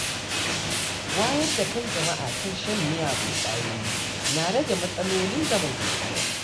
Wayar da kan jama’a kan shan miyagun ƙwayoyi na rage matsalolin zamantakewa.